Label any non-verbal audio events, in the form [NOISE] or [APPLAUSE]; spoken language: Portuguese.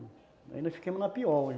Aí nós ficamos na pior [UNINTELLIGIBLE]